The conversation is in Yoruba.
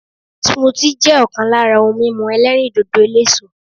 Smoothie' jẹ́ òkan lára ohun mímu elérìndòdò eléso